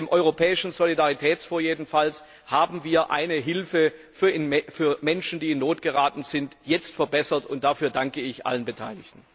Mit dem Europäischen Solidaritätsfonds haben wir die Hilfe für Menschen die in Not geraten sind, jetzt verbessert, und dafür danke ich allen Beteiligten.